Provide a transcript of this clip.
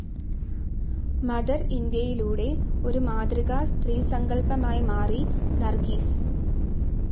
Mother ഇന്ത്യയിലൂടെ ഒരു മാതൃകാ സ്ത്രീസങ്കൽപമായി മാറി നർഗീസ്.